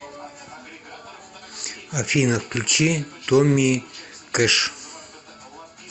афина включи томми кэш